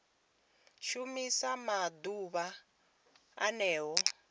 shumiwa nga ḓuvha o ḽeneo